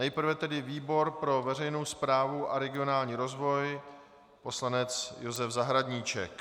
Nejprve tedy výbor pro veřejnou správu a regionální rozvoj poslanec Josef Zahradníček.